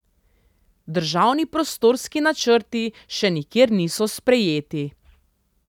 Državni prostorski načrti še nikjer niso sprejeti.